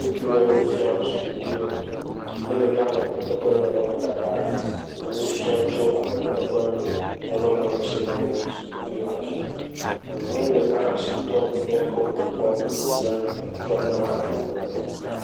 Ŋutsu ɖe nu fiam sukuviwo eye wòle amegbetɔ ƒe nɔnɔmetata enu fiam tso amegbetɔ ƒe nɔnɔmeŋutsi na sukuviwo le afi ya. Nyɔnu ɖeka hã asi tɔm nu si kpɔ wòle na ŋutsu ne wòaɖe eme nɛ.